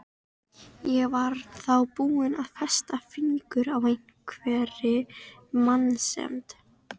Ég var þá búin að festa fingur á einhverri meinsemd.